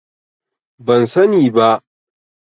Ban sani ba.